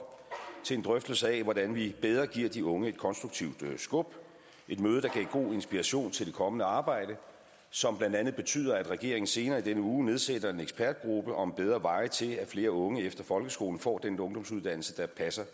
til en drøftelse af hvordan vi bedre giver de unge et konstruktivt skub et møde der gav god inspiration til det kommende arbejde som blandt andet betyder at regeringen senere i denne uge nedsætter en ekspertgruppe om bedre veje til at flere unge efter folkeskolen får den ungdomsuddannelse der passer